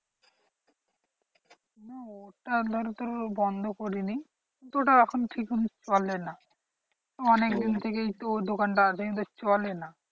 হ্যাঁ ওটা ধর তোর বন্ধ করিনি কিন্তু ওটা এখন ঠিক চলে না। অনেক দিন থেকেই তো দোকানটা আছে কিন্তু চলে না।